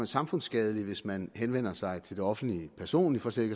samfundsskadeligt hvis man henvender sig til det offentlige personligt for slet